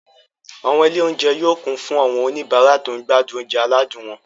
Àwọn ilé-oúnjẹ yóò kún fún àwọn oníbàárà tó ń gbádùn oúnjẹ aládùn wọn.